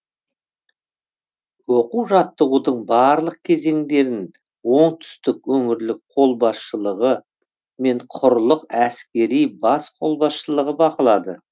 оқу жаттығудың барлық кезеңдерін оңтүстік өңірлік қолбасшылығы мен құрлық әскери бас қолбасшылығы бақылады